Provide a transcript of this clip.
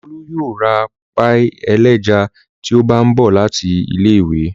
Olú yóò ra páíì ẹlẹ́ja tí ó bá ń bọ̀ láti ilé-ìwé.